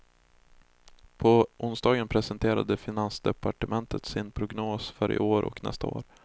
På onsdagen presenterade finansdepartementet sin prognos för i år och nästa år.